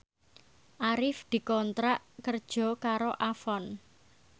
Arif dikontrak kerja karo Avon